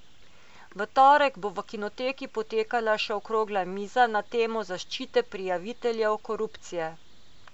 V torek bo v Kinoteki potekala še okrogla miza na temo zaščite prijaviteljev korupcije.